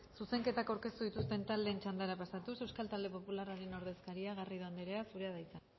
zuzenketak aurkeztu dituzten taldeen txandara pasatuz euskal talde popularraren ordezkaria garrido anderea zurea da hitza